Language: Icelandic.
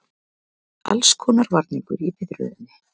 Allskonar varningur í biðröðinni.